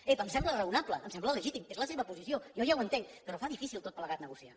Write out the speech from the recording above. ep em sembla raonable em sembla legítim és la seva posició jo ja ho entenc però fa difícil tot plegat negociar